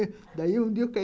daí um dia eu pe